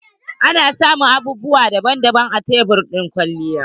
Ana samun abubuwa daban daban a tebur na kwalliya.